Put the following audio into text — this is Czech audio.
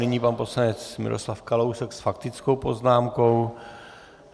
Nyní pan poslanec Miroslav Kalousek s faktickou poznámkou.